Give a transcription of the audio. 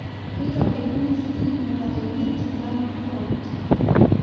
keitobiruni sii mukateni tenkano tofauti